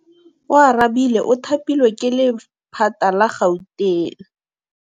Oarabile o thapilwe ke lephata la Gauteng.